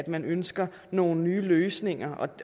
man ønsker nogle nye løsninger